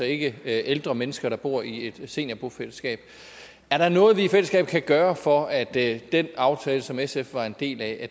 ikke ældre mennesker der bor i et seniorbofællesskab er der noget vi i fællesskab kan gøre for at den aftale som sf var en del af